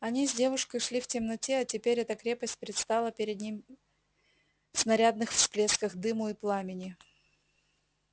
они с девушкой шли в темноте а теперь эта крепость предстала перед ним в снарядных всплесках дыму и пламени